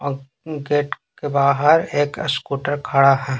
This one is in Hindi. और गेट के बाहर एक स्कूटर खड़ा है।